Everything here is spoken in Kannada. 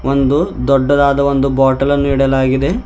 ಒಂದು ದೊಡ್ಡದಾದ ಒಂದು ಬಾಟಲ್ ಅನ್ನು ಇಡಲಾಗಿದೆ.